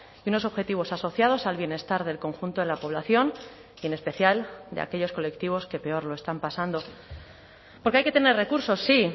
y unos objetivos asociados al bienestar del conjunto de la población y en especial de aquellos colectivos que peor lo están pasando porque hay que tener recursos sí